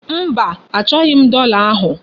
Mba, achọghị m dọla ahụ.